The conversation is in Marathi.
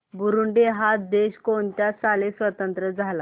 बुरुंडी हा देश कोणत्या साली स्वातंत्र्य झाला